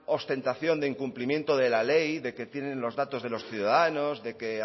ostentación de incumplimiento de la ley de que tienen los datos de los ciudadanos de que